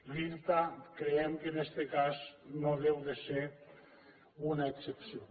l’irta creiem que en este cas no ha de ser una excepció